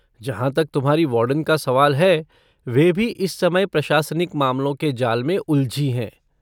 जहाँ तक तुम्हारी वार्डन का सवाल है, वे भी इस समय प्रशासनिक मामलों के जाल में उलझी हैं।